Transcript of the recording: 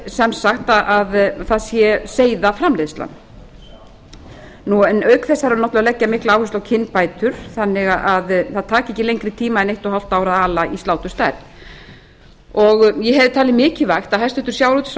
sem sagt að það sé seiðaframleiðsla auk þess þarf náttúrlega að leggja mikla áherslu á kynbætur þannig að það taki ekki lengri tíma en eitt og hálft ár að ala í sláturstærð ég hefði talið mikilvægt að hæstvirtur